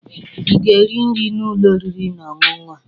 Ị ga-eri nri n'ụlọ oriri na ọṅụṅụ a?